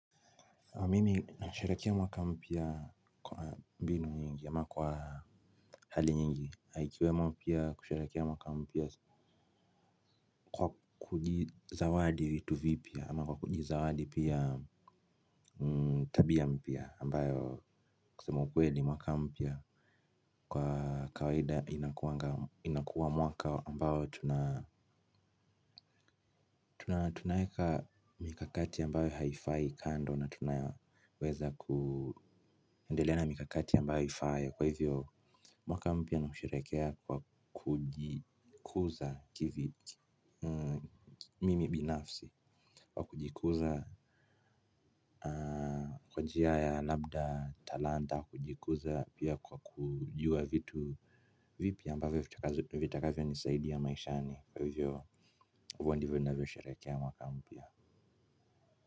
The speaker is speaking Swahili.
Mimi nasherehekea mwaka mpya kwa binu nyingi ama kwa hali nyingi ikiwemo pia kusherehekea mwaka mpya kwa kujizawadi vitu vipya ama kwa kujizawadi pia tabia mpya ambayo kusema ukweli mwaka mpya. Kwa kawaida inakuwanga inakuwa mwaka ambayo tunaweka mikakati ambayo haifai kando na tunaweza kuendelea na mikakati ambayo ifaayo. Kwa hivyo mwaka mpya ni kusherehekea kwa kujikuza kivi mimi binafsi. Kwa kujikuza kwa njia ya labda talanta kujikuza pia kwa kujua vitu vipi ambavyo vitakavyo nisaidia maishani. Kwa hivyo huwa ndivyo navyo sherehekea mwaka mpya.